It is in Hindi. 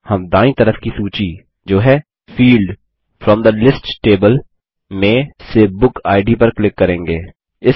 अगला हम दायीं तरफ की सूची जो है field from the list table में से बुक इद पर क्लिक करेंगे